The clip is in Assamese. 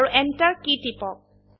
আৰু এন্টাৰ কী টিপক